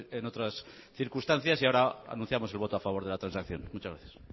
en otras circunstancias y ahora anunciamos el voto a favor de la transacción muchas gracias